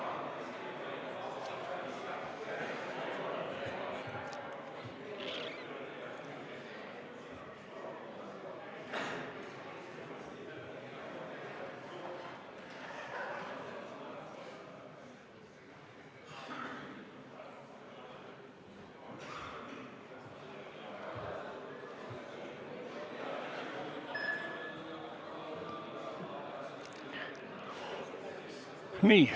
Kohaloleku kontroll Nii.